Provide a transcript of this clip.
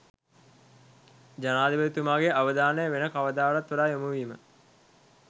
ජනාධිපතිතුමාගේ අවධානය වෙන කවරදාටත් වඩා යොමුවීම